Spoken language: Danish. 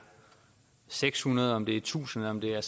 seks hundrede om det er tusind om det er